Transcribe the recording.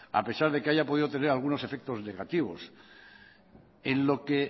a pesar de que haya podido tener algunos efectos negativos en lo que